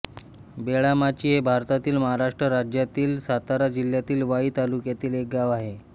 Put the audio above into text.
बेळामाची हे भारतातील महाराष्ट्र राज्यातील सातारा जिल्ह्यातील वाई तालुक्यातील एक गाव आहे